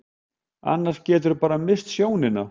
Annars geturðu bara misst sjónina.